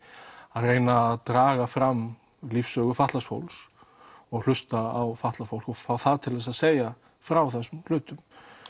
að reyna að draga fram lífssögu fatlaðs fólks og hlusta á fatlað fólk og fá það til þess að segja frá þessum hlutum